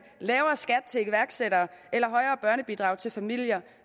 lavere skat til iværksættere eller højere børnebidrag til familier